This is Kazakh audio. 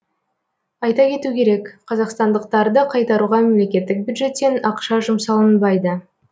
айта кету керек қазақстандықтарды қайтаруға мемлекеттік бюджеттен ақша жұмсалынбайды